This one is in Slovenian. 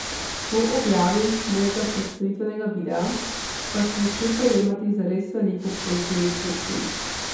Po objavi mojega predstavitvenega videa, pa sem začel prejemati zares veliko pozitivnih sporočil.